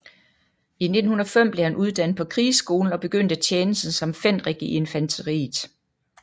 I 1905 blev han uddannet på krigsskolen og begyndte tjenesten som fenrik i infanteriet